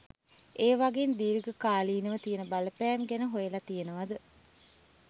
ඒවගෙන් දීර්ග කාලීනව තියන බලපෑම් ගැන හොයල තියනවද?